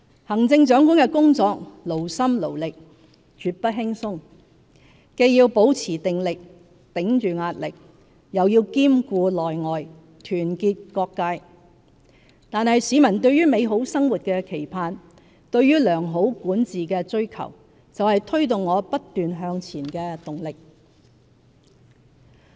行政長官的工作勞心勞力，絕不輕鬆，既要保持定力，頂着壓力，又要兼顧內外，團結各界，但市民對美好生活的期盼、對良好管治的追求，就是推動我不斷向前的動力。